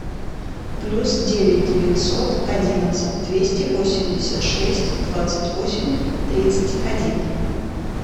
плюс девять девятьсот одиннадцать двести восемьдесят шесть двадцать восемь тридцать один